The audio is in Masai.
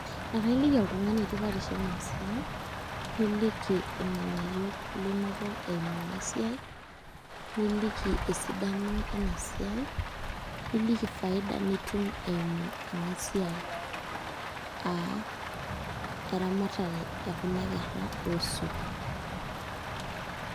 Akailiki oltung'ani tipatisho ena siai niliki irng'abayio linoto eimu ena siai niliki esidano ena siai niliki faida nitum eimu ena siai aa eramatare ekuna kerra oosuk.